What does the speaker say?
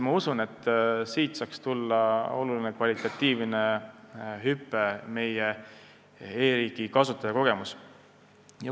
Ma usun, et siit saaks tulla suur kvalitatiivne hüpe meie e-riigi kasutajakogemuses.